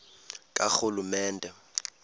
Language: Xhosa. karhulumente